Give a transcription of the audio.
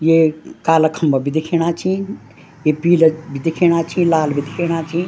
ये काला खम्बा भी दिख्येणा छीं ये पीला भी दिख्येणा छीं लाल भी दिख्येणा छीं।